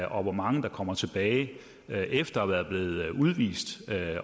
og hvor mange der kommer tilbage efter at være blevet udvist